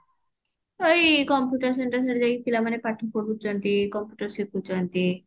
ଏଇ computer center ପିଲାମାନେ ସେଠିଯାଇ ପାଠ ପଢୁଛନ୍ତି computer ଶିଖୁଛନ୍ତି